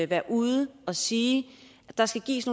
være ude at sige at der skal gives